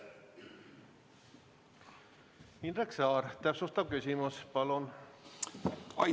Indrek Saar, täpsustav küsimus palun!